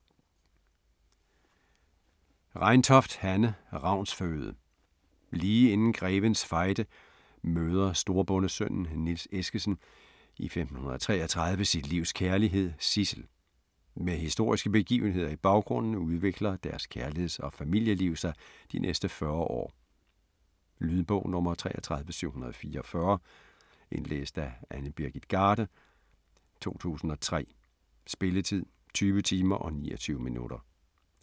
Reintoft, Hanne: Ravns føde Lige inden Grevens Fejde møder storbondesønnen Niels Eskessen i 1533 sit livs kærlighed, Sidsel. Med historiske begivenheder i baggrunden udvikler deres kærligheds- og familieliv sig de næste 40 år. Lydbog 33744 Indlæst af Annie Birgit Garde, 2003. Spilletid: 20 timer, 29 minutter.